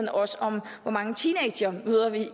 også om hvor mange teenagemødre vi